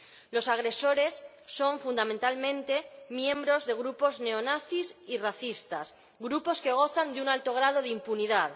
Los agresores son fundamentalmente miembros de grupos neonazis y racistas, grupos que gozan de un alto grado de impunidad.